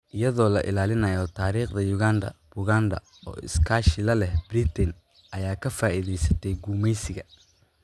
Iyadoo la ilaalinayo taariikhda Uganda, Buganda, oo iskaashi la leh Britain, ayaa ka faa'iidaysatay gumeysiga.